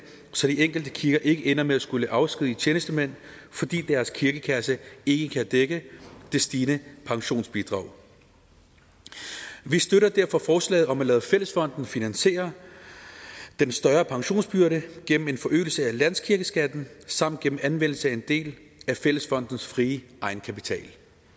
så de enkelte kirker ikke ender med at skulle afskedige tjenestemænd fordi deres kirkekasse ikke kan dække det stigende pensionsbidrag vi støtter derfor forslaget om at lade fællesfonden finansiere den større pensionsbyrde gennem en forøgelse af landskirkeskatten samt gennem anvendelse af en del af fællesfondens frie egenkapital